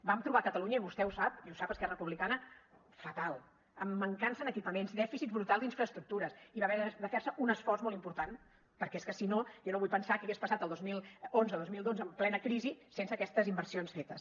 vam trobar catalunya i vostè ho sap i ho sap esquerra republicana fatal amb mancança en equipaments dèficit brutal d’infraestructures i va haver de fer se un esforç molt important perquè és que si no jo no vull pensar què hagués passat el dos mil onze dos mil dotze en plena crisi sense aquestes inversions fetes